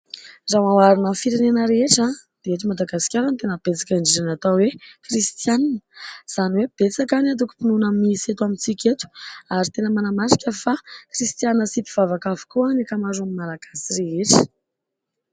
Raha hoarina amin'ny firenena rehetra dia eto Madagasikara ny tena betsaka indrindra ny atao hoe kristianina. Izany hoe betsaka ny atokom-pinoana misy eto amintsika eto ary tena manamarika fa kristianina sy mpivavaka avokoa ny akamaroan'ny malagasy rehetra.